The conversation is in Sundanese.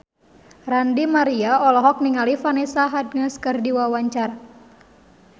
Ranty Maria olohok ningali Vanessa Hudgens keur diwawancara